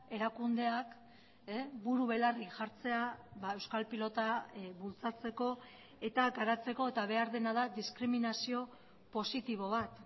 erakundeak buru belarri jartzea euskal pilota bultzatzeko eta garatzeko eta behar dena da diskriminazio positibo bat